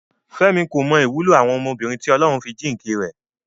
Fẹ́mi kò mọ ìwúlò àwọn ọmọbìnrin tí Ọlọ́run fi jíǹkì rẹ̀.